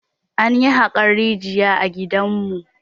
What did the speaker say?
Anyi haƙan rijiya a gidanmu.